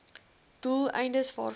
doel eindes waarvoor